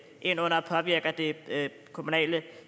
ind og påvirker det kommunale